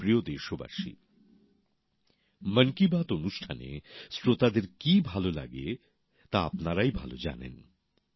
আমার প্রিয় দেশবাসী মন কী বাত অনুষ্ঠানে শ্রোতাদের কী ভাল লাগে তা আপনারাই ভাল জানেন